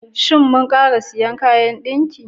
Shin mu ƙara sayin kayan dinki?